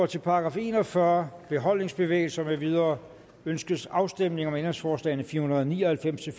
til § en og fyrre beholdningsbevægelser med videre ønskes afstemning om ændringsforslag nummer fire hundrede og ni og halvfems til